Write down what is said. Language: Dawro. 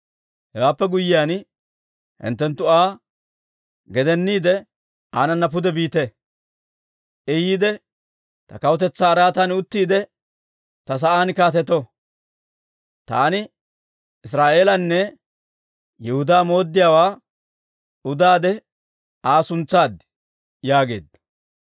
Hewaappe guyyiyaan hinttenttu Aa gedeniide aanana pude biite; I yiide ta kawutetsaa araatan uttiide, ta sa'aan kaatetto. Taani Israa'eelanne Yihudaa mooddiyaawaa udaade Aa suntsaad» yaageedda.